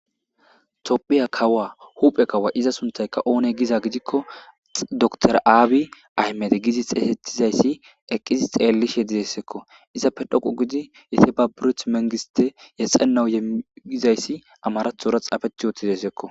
Tophiya kawa huphe kawa iza suntaykka oone giza gidikko dtra aabi aymede gidi xesetizayssi eqqizi xeellish he dizesekko izappe dhoqo gidi yeteba biruth mengiste yexenau yegizayssi amarathora xaafeth yootizaysekko.